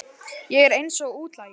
Ég er eins og útlagi.